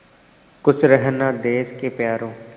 खुश रहना देश के प्यारों